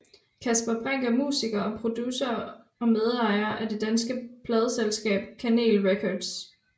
Kasper Brinck er musiker og producer og medejer af det danske pladeselskab Kanel Records